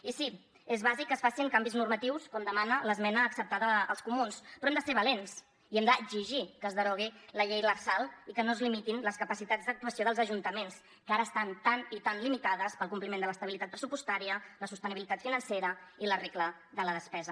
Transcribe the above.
i sí és bàsic que es facin canvis normatius com demana l’esmena acceptada als comuns però hem de ser valents i hem d’exigir que es derogui la llei lrsal i que no es limitin les capacitats d’actuació dels ajuntaments que ara estan tan i tan limitades pel compliment de l’estabilitat pressupostària la sostenibilitat financera i la regla de la despesa